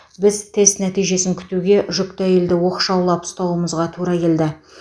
біз тест нәтижесін күтуге жүкті әйелді оқшаулап ұстауымызға тура келді